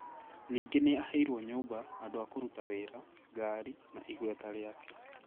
Ningĩ nĩ aaheirũo nyũmba, andũ a kũruta wĩra, ngari, na igweta rĩake.